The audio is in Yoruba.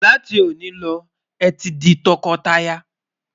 là tí oni ló, é tí di tó kò tá yà